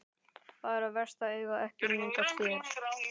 Bara verst að eiga ekki mynd af þér.